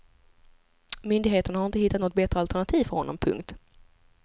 Myndigheterna har inte hittat något bättre alternativ för honom. punkt